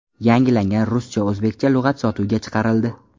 Yangilangan ruscha-o‘zbekcha lug‘at sotuvga chiqarildi.